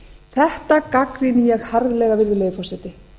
þetta gagnrýni ég harðlega virðulegi forseti